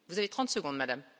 Vous avez 30 secondes Madame.